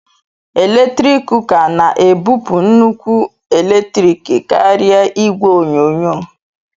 eletrik kuka na-ebupụ nnukwu eletrik karịa igwe onyonyo